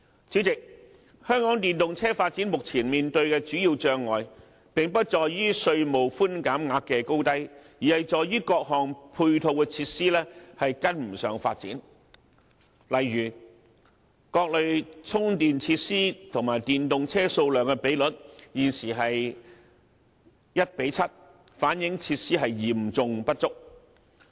主席，香港電動車發展目前面對的主要障礙，並不在於稅務寬減額的高低，而是在於各項配套的設施未能追上發展，例如各類充電設施和電動車數量的比率，現時是 1：7， 反映設施嚴重不足。